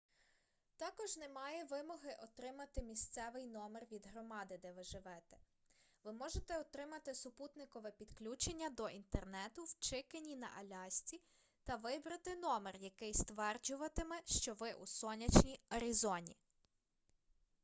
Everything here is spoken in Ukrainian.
також немає вимоги отримати місцевий номер від громади де ви живете ви можете отримати супутникове підключення до інтернету в чикені на алясці та вибрати номер який стверджуватиме що ви у сонячній арізоні